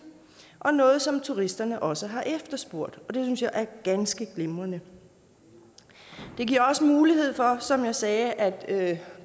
og noget som turisterne også har efterspurgt og det synes jeg er ganske glimrende det giver også mulighed for som jeg sagde at